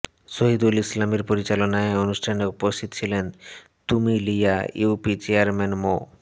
শহীদুল ইসলামের পরিচালনায় অনুষ্ঠানে উপস্থিত ছিলেন তুমিলিয়া ইউপি চেয়ারম্যান মো